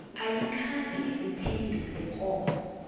ayikhange iphendule koko